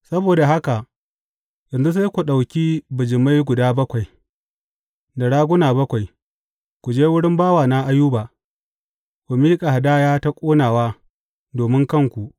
Saboda haka yanzu sai ku ɗauki bijimai guda bakwai, da raguna bakwai, ku je wurin bawana Ayuba ku miƙa hadaya ta ƙonawa domin kanku.